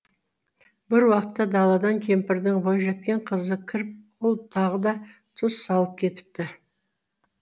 бір уақытта даладан кемпірдің бойжеткен қызы кіріп ол тағы да тұз салып кетіпті